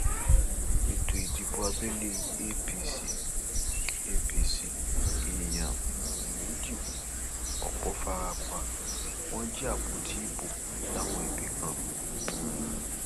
ètò ìdìbò abẹlé apc l apc l èèyàn um méjì kú ọpọ fara pa wọn jí àpótí ìbò láwọn ibì kan um